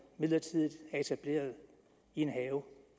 midlertidigt er etableret i en have